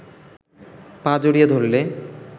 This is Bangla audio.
পা জড়িয়ে ধরলে